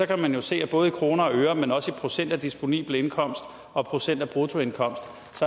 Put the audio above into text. kan man jo se at både i kroner og øre men også i procent af disponibel indkomst og procent af bruttoindkomst